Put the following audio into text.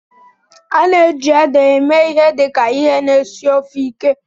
A na-eji ede eme ihe dị ka ihe na-esi ofe ike.